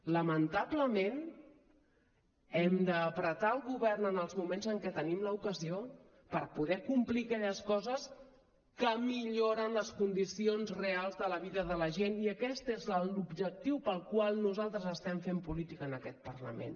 lamentablement hem d’ apretar el govern en els moments en què en tenim l’ocasió per poder complir aquelles coses que milloren les condicions reals de la vida de la gent i aquest és l’objectiu pel qual nosaltres estem fent política en aquest parlament